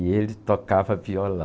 E ele tocava violão.